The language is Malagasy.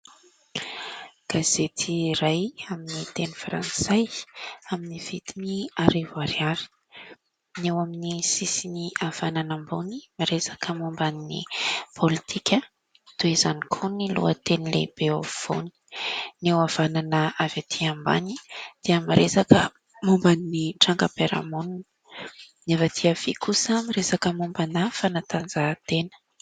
Gazety iray amin'ny teny Frantsay amin'ny vidiny arivo ariary. Ny eo amin'ny sisiny havanana ambony miresaka momba ny politika, toy izany ko ny lohateny lehibe afovoany. Ny eo havanana avy aty ambany dia miresaka momba ny trangam-piarahamonina. Ny avy aty havia kosa miresaka mombana fanatanjahantena.